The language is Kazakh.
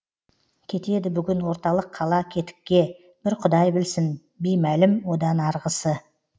кетеді бүгін орталық қала кетікке бір құдай білсін беймәлім одан арғысы